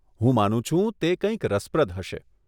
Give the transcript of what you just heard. હું માનું છું, તે કંઈક રસપ્રદ હશે.